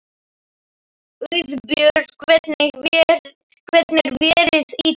Auðbjört, hvernig er veðrið í dag?